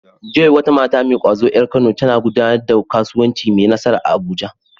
Joy, wata mata mai ƙwazo ƴar Kano, tana gudanar da kasuwanci mai nasara a Abuja.